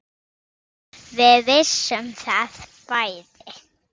Við vissum það bæði.